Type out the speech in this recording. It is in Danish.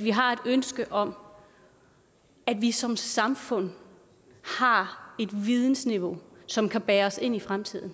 vi har et ønske om at vi som samfund har et vidensniveau som kan bære os ind i fremtiden